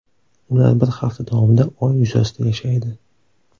Ular bir hafta davomida Oy yuzasida yashaydi.